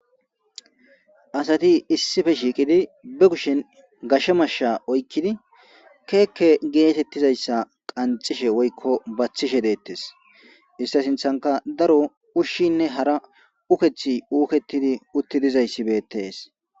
asati issife shiiqidi be kushen gashe mashsha oykkidi keekke geetettizayssa qancishe woykko baththishe deettes ista sinthanka daro ushshinne hara ukethi uuketidi utti dizayssi beettees